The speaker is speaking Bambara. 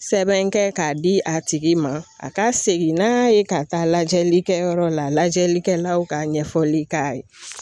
Sɛbɛn kɛ k'a di a tigi ma a ka segin n'a ye ka taa lajɛlikɛyɔrɔ la lajɛlikɛlaw ka ɲɛfɔli k'a ye.